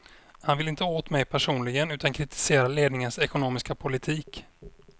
Han vill inte åt mig personligen utan kritiserar ledningens ekonomiska politik.